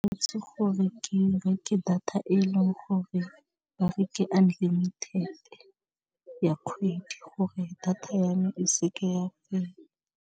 Itse gore ke reke data e leng gore ba re unlimited ya kgwedi gore data ya me e se ke ya fela.